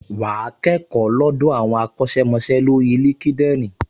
Wà á kẹ́kọ̀ọ́ lọ́dọ̀ àwọn akọ́ṣẹ́mọṣẹ́ lórí LinkedIn